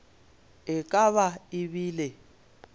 e ka ba e bile